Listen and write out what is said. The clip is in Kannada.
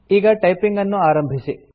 ಈಗ ಟೈಪಿಂಗ್ ಅನ್ನು ಆರಂಭಿಸಿ